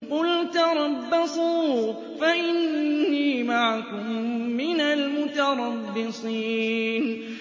قُلْ تَرَبَّصُوا فَإِنِّي مَعَكُم مِّنَ الْمُتَرَبِّصِينَ